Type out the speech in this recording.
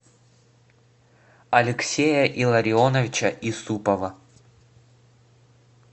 алексея илларионовича исупова